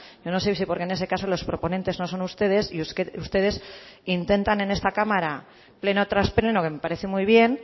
yo no sé si porque en ese caso los proponentes no son ustedes y ustedes que intentan en esta cámara pleno tras pleno que me parece muy bien